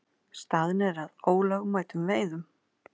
Staðnir að ólögmætum veiðum